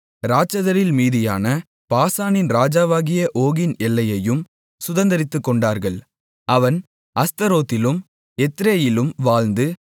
இராட்சதரில் மீதியான பாசானின் ராஜாவாகிய ஓகின் எல்லையையும் சுதந்தரித்துக்கொண்டார்கள் அவன் அஸ்தரோத்திலும் எத்ரேயிலும் வாழ்ந்து